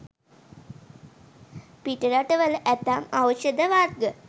පිටරටවල ඇතැම් ඖෂධ වර්ග